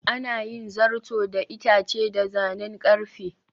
Ana yin zato da itace da zanen ƙarfe.